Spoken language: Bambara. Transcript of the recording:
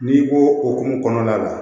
N'i ko hokumu kɔnɔna la